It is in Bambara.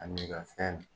Ani i ka fɛn